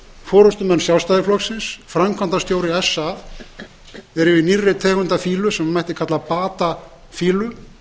forustumenn sjálfstæðisflokksins og framkvæmdastjóri sa eru í nýrri fýlu sem mætti kalla bata fýlu